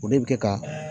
O de bɛ kɛ ka